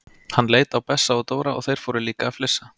Hann leit á Bessa og Dóra og þeir fóru líka að flissa.